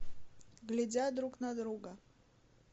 глядя друг на друга